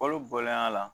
Olu bɔlen a la